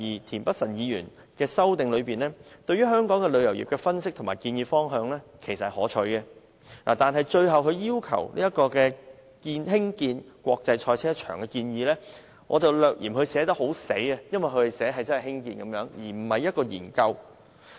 田北辰議員在其修正案中，對香港旅遊業所作的分析及建議方向，其實是可取的，但他最後提出興建國際賽車場的建議，則略嫌寫得"太死"，因為他要求政府興建而非進行研究。